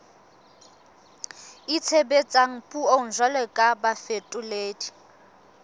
itshebetsang puong jwalo ka bafetoledi